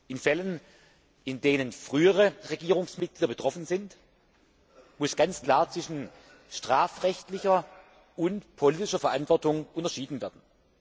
In Fällen, in denen frühere Regierungsmitglieder betroffen sind, muss ganz klar zwischen strafrechtlicher und politischer Verantwortung unterschieden werden.